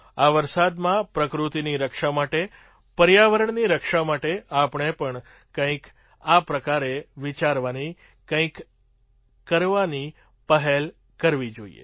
આ વરસાદમાં પ્રકૃતિની રક્ષા માટે પર્યાવરણની રક્ષા માટે આપણે પણ કંઈક આ પ્રકારે વિચારવાની કંઈક કરવાની પહેલ કરવી જોઈએ